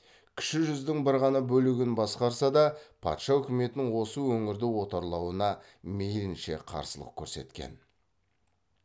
кіші жүздің бір ғана бөлігін басқарса да патша үкіметінің осы өңірді отарлауына мейілінше қарсылық көрсеткен